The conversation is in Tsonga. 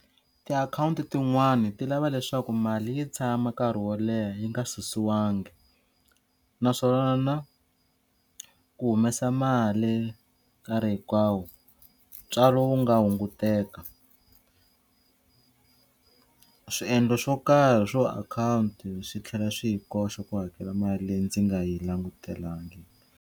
Ti-account tin'wani ti lava leswaku mali yi tshama nkarhi wo leha yi nga susiwangi naswona ku humesa mali nkarhi hinkwawo ntswalo wu nga hunguteka swiendlo swo karhi swo account swi tlhela swi yi koxa ku hakela mali leyi ndzi nga yi langutelangi.